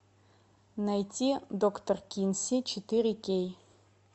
найти доктор кинси четыре кей